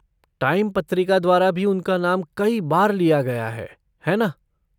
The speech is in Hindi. टाइम पत्रिका द्वारा भी उनका नाम कई बार लिया गया है, है ना?